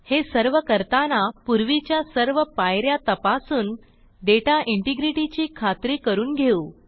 हे सर्व करताना पूर्वीच्या सर्व पाय या तपासून डेटा इंटिग्रिटी ची खात्री करून घेऊ